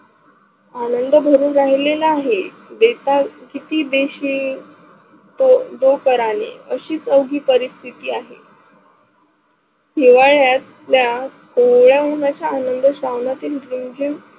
आनंद घरी राहिलेलं आहे. याचा कती देशील? अशी चौकी पारीस्तीती आहे. हिवाळ्यात तया कोवळ्या उनाच आनंद श्रावणाची रिमझिम